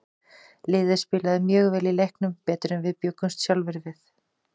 Liðið spilaði mjög vel í leiknum, betur en við bjuggumst sjálfir við.